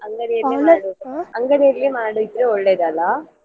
ಅಂಗಡಿಯಲ್ಲಿ ಅಂಗಡಿಯಲ್ಲಿ ಮಾಡಿದ್ರೆ ಒಳ್ಳೇದಲ್ಲಾ.